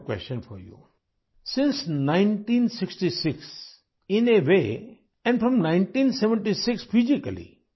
1966 ء سے ، اور خاص طور سے 1976 ء سے آپ طویل عرصے سے بھارت سے منسلک ہیں